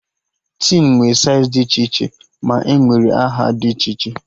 Tin nwe saịz dị iche iche ma nwere aha dị iche iche